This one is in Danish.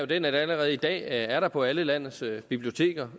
den at der allerede i dag er internetadgang på alle landets biblioteker